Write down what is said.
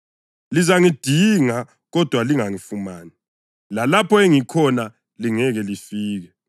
Lizangidinga kodwa lingangifumani; lalapho engikhona lingeke lifike.”